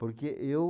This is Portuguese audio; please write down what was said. Porque eu...